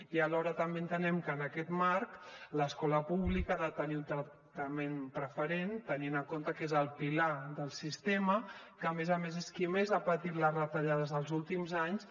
i alhora també entenem que en aquest marc l’escola pública ha de tenir un tractament preferent tenint en compte que és el pilar del sistema que a més a més és qui més ha patit les retallades dels últims anys